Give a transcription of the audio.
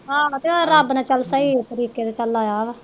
ਆਹੋ ਤੇ ਹੋਰ ਰੱਬ ਨੇ ਚਲ ਸਹੀ ਤਰੀਕੇ ਤੇ ਚਲ ਲਾਇਆ ਵਾ।